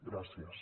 gràcies